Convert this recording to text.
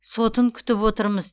сотын күтіп отырмыз